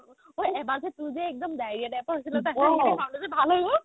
ঐ এবাৰ যে তোৰ যে একবাৰ diarrhea type ৰ হৈছিল ন তাৰপিছত খাওতে যে ভাল হয় গ'ল